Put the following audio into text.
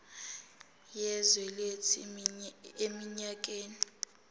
yezwe lethu eminyakeni